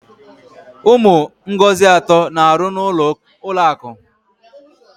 Ụmụ Ngozi atọ na-aru n'ulọ akụ.